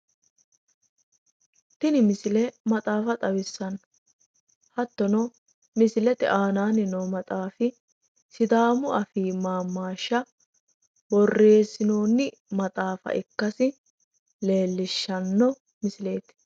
Tini misile maxaafa xawissanno, Hattono misilete aanaanni noo maxaafi sidaamu afii maammaashsha borreessinoonni maaxafa ikkasi leellishshanno misileeti.